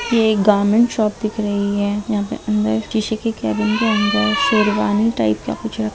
ये एक garment shop दिख रही है यहाँ पे अंदर किसी के केबिन के अंदर शेरवानी टाइप या कुछ रख --